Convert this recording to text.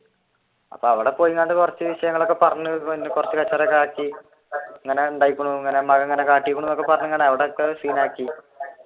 അവിടെ പോയി